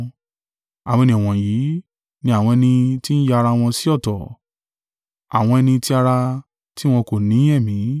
Àwọn ènìyàn wọ̀nyí ni àwọn ẹni tí ń ya ara wọn sí ọ̀tọ̀, àwọn ẹni ti ara, tí wọn kò ni Ẹ̀mí.